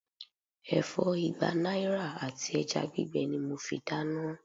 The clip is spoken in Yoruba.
Ẹ̀fọ́ igba náírà àti ẹja gbígbẹ ni mo fi dáná.